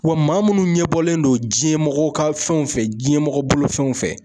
Wa maa munnu ɲɛbɔlen don diɲɛmɔgɔw ka fɛnw fɛ diɲɛmɔgɔ bolofɛnw fɛ.